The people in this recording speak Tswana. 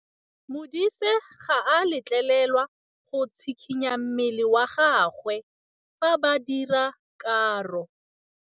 Modise ga a letlelelwa go tshikinya mmele wa gagwe fa ba dira karô.